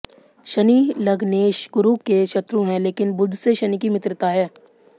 शनि लग्नेश गुरु के शत्रु हैं लेकिन बुध से शनि की मित्रता है